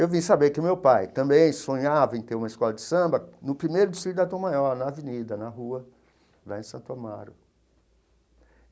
Eu vim saber que meu pai também sonhava em ter uma escola de samba no primeiro distrito da Tom Maior, na avenida, na rua, lá em Santo Amaro.